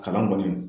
Kalan kɔni